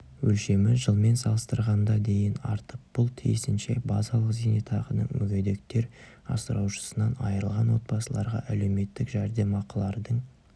өлшемі жылмен салыстырғанда дейін артып бұл тиісінше базалық зейнетақының мүгедектер асыраушысынан айырылған отбасыларға әлеуметтік жәрдемақылардың